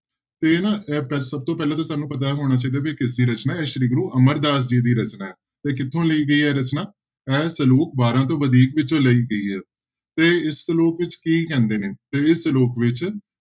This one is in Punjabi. ਤੇ ਨਾ ਇਹ ਪ ਸਭ ਤੋਂ ਪਹਿਲਾਂ ਤਾਂ ਸਾਨੂੰ ਪਤਾ ਹੋਣਾ ਚਾਹੀਦਾ ਵੀ ਕਿਸਦੀ ਰਚਨਾ ਹੈ ਇਹ ਸ੍ਰੀ ਗੁਰੂ ਅਮਰਦਾਸ ਜੀ ਦੀ ਰਚਨਾ ਹੈ ਤੇ ਕਿੱਥੋਂ ਲਈ ਗਈ ਹੈ ਰਚਨਾ, ਇਹ ਸਲੋਕ ਵਾਰਾਂ ਤੋਂ ਵਧੀਕ ਵਿੱਚੋਂ ਲਈ ਗਈ ਹੈ ਤੇ ਇਸ ਸਲੋਕ ਵਿੱਚ ਕੀ ਕਹਿੰਦੇ ਨੇ, ਤੇ ਇਹ ਸਲੋਕ ਵਿੱਚ